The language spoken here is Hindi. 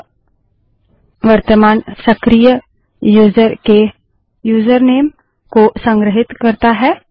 यह वर्तमान सक्रिय यूजर के यूजरनेम को संग्रहीत करता है